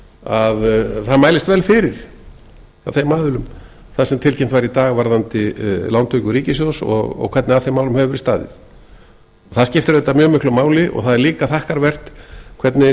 að það mælist vel fyrir af þeim aðilum þar sem tilkynnt var í dag varðandi lántöku ríkissjóðs og hvernig að þeim málum hefur verið staðið það skiptir auðvitað mjög miklu máli og það er líka þakkarvert hvernig